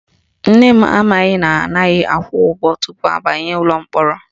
Nne m amaghị na anaghị akwụ ụgwọ tupu abanye ụlọ mkpọrọ